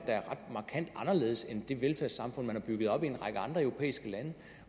er ret markant anderledes end de velfærdssamfund de har bygget op i en række andre europæiske lande